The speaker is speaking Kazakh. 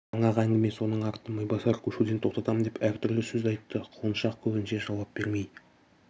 жаңағы әңгіме соның арты майбасар көшуден тоқтатам деп әр түрлі сөз айтты құлыншақ көбінше жауап бермей